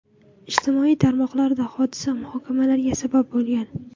Ijtimoiy tarmoqlarda hodisa muhokamalarga sabab bo‘lgan.